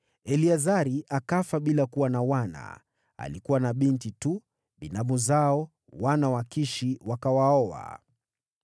Eleazari akafa bila ya kuwa na wana: alikuwa na binti tu. Binamu zao, wana wa Kishi, wakawaoa.